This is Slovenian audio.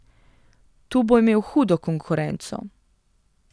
Tu bo imel hudo konkurenco.